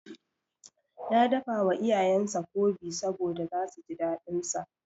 Ya dafawa iyayensa Nkwobi saboda zasu ji daɗinsa.